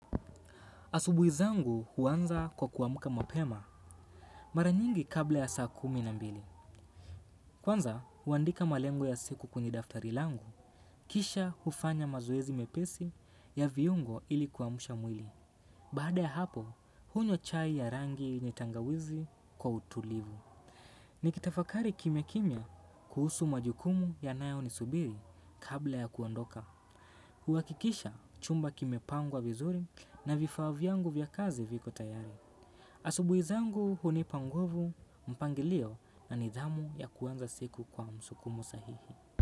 Asubuhi zangu huanza kwa kuamka mapema mara nyingi kabla ya saa kumi na mbili. Kwanza, huandika malengo ya siku kwenye daftari langu. Kisha hufanya mazoezi mepesi ya viungo ili kuamsha mwili. Baada ya hapo, hunywa chai ya rangi yenye tangawizi kwa utulivu. Nikitafakari kimya kimya kuhusu majukumu yanayo nisubiri kabla ya kuondoka. Huhakikisha chumba kimepangwa vizuri na vifaa vyangu vya kazi viko tayari. Asubuhi zangu hunipa nguvu, mpangilio na nidhamu ya kuanza siku kwa msukumo sahihi.